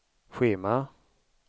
schema